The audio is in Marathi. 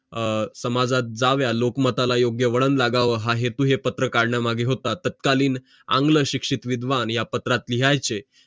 अं समाजात जावं लोकमताला योग्य वळण लागावं हा हेत हा पात्र काढण्या मागं होता तत्कालीन शिक्षित विद्वान या पत्रात लिहायचे